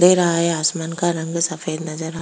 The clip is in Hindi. दे रहा है आसमान का रंग सफेद नजर आ --